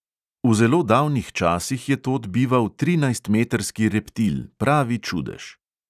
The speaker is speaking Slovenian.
V zelo davnih časih je tod bival trinajstmetrski reptil, pravi čudež.